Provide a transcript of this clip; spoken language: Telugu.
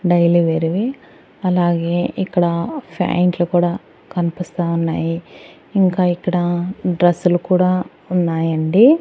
డైలీ వేర్ వి అలాగే ఇక్కడ ప్యాయింట్లు కూడా కనిపిస్తా ఉన్నాయి. ఇంకా ఇక్కడ డ్రస్సులు కూడా ఉన్నాయండి.